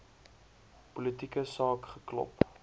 politieke saak geklop